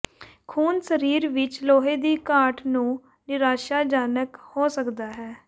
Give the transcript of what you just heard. ਖੂਨ ਸਰੀਰ ਵਿੱਚ ਲੋਹੇ ਦੀ ਘਾਟ ਨੂੰ ਨਿਰਾਸ਼ਾਜਨਕ ਹੋ ਸਕਦਾ ਹੈ